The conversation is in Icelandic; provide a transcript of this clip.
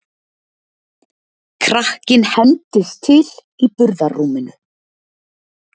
Krakkinn hendist til í burðarrúminu.